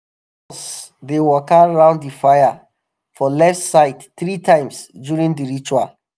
all of us dey waka round the fire um for left side three times um during the ritual.